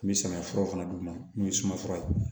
N bɛ samiya furaw fana d'u ma n'u ye suma fura ye